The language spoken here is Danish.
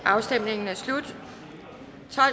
afstemningen er slut for